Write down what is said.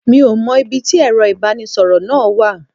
Mi ò mọ ibi tí Ẹ̀rọ ibanisoro náà wà.